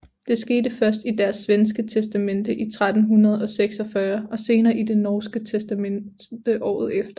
Det skete først i deres svenske testamente i 1346 og senere i det norske testamente året efter